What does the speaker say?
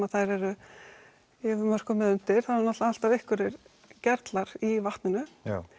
að þær eru yfir mörkum eða undir það eru náttúrulega alltaf einhverjir gerlar í vatninu